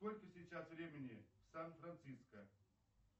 сколько сейчас времени в сан франциско